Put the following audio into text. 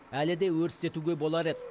әлі де өрістетуге болар еді